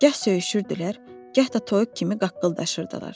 Gah söyüşürdülər, gah da toyuq kimi qaqqıldaşırdılar.